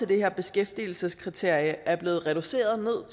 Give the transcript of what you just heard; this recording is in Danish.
det her beskæftigelseskriterie er også blevet reduceret